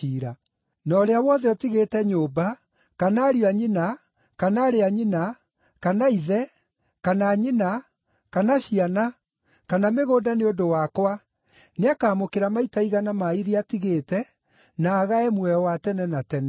Na ũrĩa wothe ũtigĩte nyũmba, kana ariũ a nyina, kana aarĩ a nyina, kana ithe, kana nyina, kana ciana, kana mĩgũnda nĩ ũndũ wakwa nĩakamũkĩra maita igana ma iria atigĩte, na agae muoyo wa tene na tene.